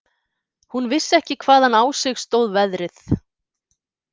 Hún vissi ekki hvaðan á sig stóð veðrið.